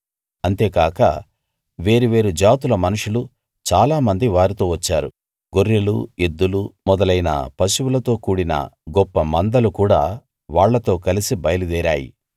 అంతేకాక వేరువేరు జాతుల మనుషులు చాలా మంది వారితో వచ్చారు గొర్రెలు ఎద్దులు మొదలైన పశువులతో కూడిన గొప్ప మందలు కూడా వాళ్ళతో కలసి బయలుదేరాయి